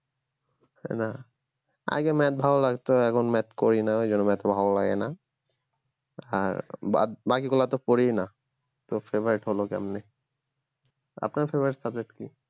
না আগে math ভালো লাগতো এখন math করিনা ওই জন্য math ভালো লাগে না আর বাদ বাকিগুলো তো পড়িই না তো favourite হল কেমনে আপনার favourite subject কি